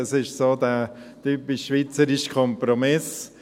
Das ist der typisch schweizerische Kompromiss.